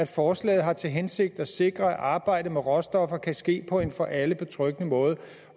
forslaget har til hensigt at sikre at arbejdet med råstoffer kan ske på en for alle betryggende måde